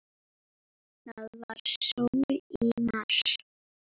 Það var sól í mars.